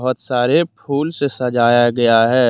सारे फूल से सजाया गया है।